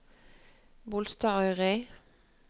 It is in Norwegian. Bolstadøyri